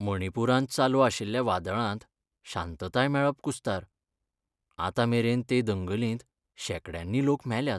मणिपुरांत चालू आशिल्ल्या वादळांत शांताताय मेळप कुस्तार, आतां मेरेन ते दंगलींत शेकड्यांनी लोक मेल्यात.